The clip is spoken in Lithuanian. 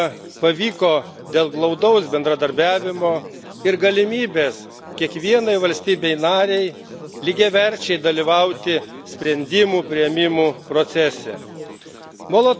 Sukurti taiką pavyko dėl glaudaus bendradarbiavimo ir galimybės kiekvienai valstybei narei lygiaverčiai dalyvauti sprendimų priėmimo procese.